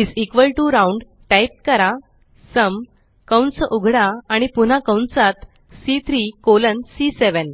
is equal to round type करा sum कंस उघडा आणि पुन्हा कंसात सी3 कॉलन सी7